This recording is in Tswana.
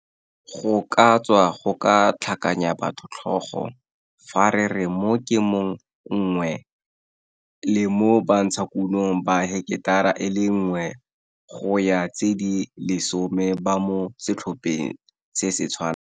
Go ka tswa go ka tlhakanya batho tlhogo fa re re mo Kemong 1, le mo bantshakunong ba heketara e le nngwe go ya tse di lesome ba mo setlhopheng se se tshwanang.